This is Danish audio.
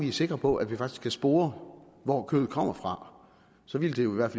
er sikre på at vi faktisk kan spore hvor kødet kommer fra så vil det jo i hvert